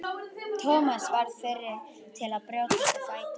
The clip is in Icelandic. Thomas varð fyrri til að brjótast á fætur.